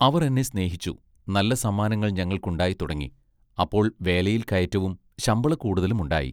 അവർ എന്നെ സ്നേഹിച്ചു നല്ല സമ്മാനങ്ങൾ ഞങ്ങൾക്കുണ്ടായി തുടങ്ങി അപ്പോൾ വേലയിൽ കയറ്റവും ശമ്പളക്കൂടുതലും ഉണ്ടായി.